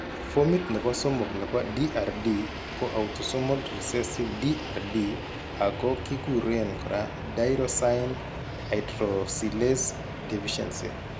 Fomit nebo somok nebo DRD ko autosomol recessive DRD ago kiguren kora tyrosine hydroxylase deficiency